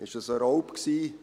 War es ein Raub?